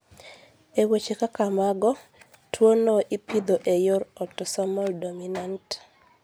E weche kaka mago, tuwono ipidho e yor otosomal dominant.